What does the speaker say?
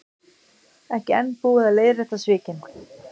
Ekki enn búið að leiðrétta svikin